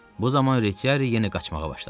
Bu zaman Retiari yenə qaçmağa başladı.